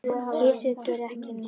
Kisur gera ekki neitt.